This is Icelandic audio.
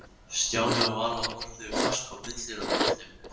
Stjáni og Vala horfðu fast á munstrið á gólfteppinu.